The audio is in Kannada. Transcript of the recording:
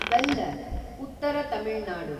ವೆಲ್ಲರ್ , ಉತ್ತರ ತಮಿಳ್ ನಾಡು